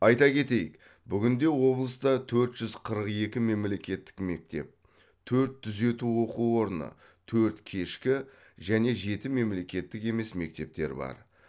айта кетейік бүгінде облыста төрт жүз қырық екі мемлекеттік мектеп төрт түзету оқу орны төрт кешкі және жеті мемлекеттік емес мектеп бар